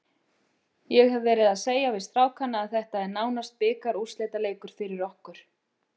Ég hef verið að segja við strákana að þetta er nánast bikarúrslitaleikur fyrir okkur.